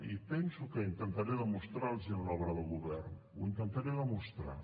i penso que intentaré demostrar los ho en l’obra de govern ho intentaré demostrar